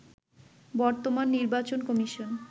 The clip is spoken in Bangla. বর্তমান নির্বাচন কমিশন